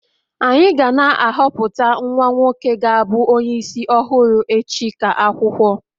anyị ga na-ahọpụta nwa nwoke ga-abu onye isi ọhụrụ echi ka akwụkwọ